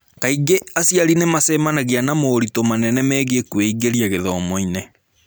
Kaingĩ aciari nĩ macemanagia na moritũ manene megiĩ kwĩingĩria gĩthomo-inĩ.